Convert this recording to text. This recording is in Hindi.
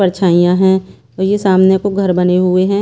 परछाइयां हैं और ये सामने को घर बने हुए हैं।